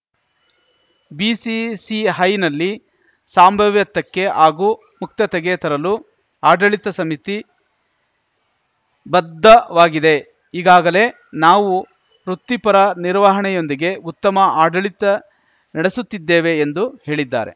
ಬಿಸಿಸಿಹೈನಲ್ಲಿ ಸಂಭಾವ್ಯತಕ್ಕೆ ಹಾಗೂ ಮುಕ್ತತೆಗೆ ತರಲು ಆಡಳಿತ ಸಮಿತಿ ಬದ್ಧವಾಗಿದೆ ಈಗಾಗಲೇ ನಾವು ವೃತ್ತಿಪರ ನಿರ್ವಹಣೆಯೊಂದಿಗೆ ಉತ್ತಮ ಆಡಳಿತ ನಡೆಸುತ್ತಿದ್ದೇವೆ ಎಂದು ಹೇಳಿದ್ದಾರೆ